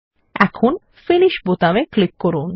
এখন ফিনিশ বোতামে ক্লিক করুন